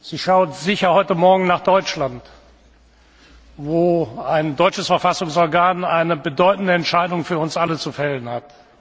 Sie schaut sicher heute Morgen nach Deutschland, wo ein deutsches Verfassungsorgan eine bedeutende Entscheidung für uns alle zu fällen hat.